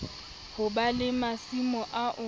ho ba le masimo ao